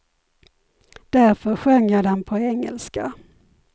Därför sjöng jag den på engelska.